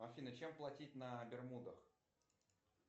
афина чем платить на бермудах